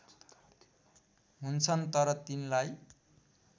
हुन्छन् तर तिनलाई